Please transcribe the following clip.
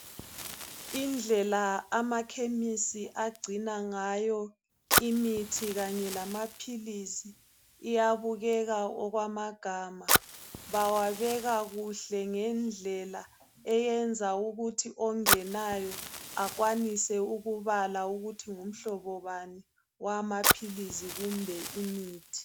Indlela amakhemisi agcina ngayo imithi kanye lamaphilisi iyabukeka okwamagama. Bawabeka kuhle ngendlela ukwenzela ukuthi ongenayo akwanise ukubala ukuthi ngumhlobo bani owamaphilisi kumbe imithi.